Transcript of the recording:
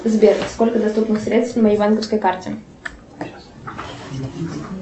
сбер сколько доступных средств на моей банковской карте